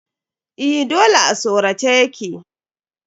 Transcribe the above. Eh dole a sorace ya ke.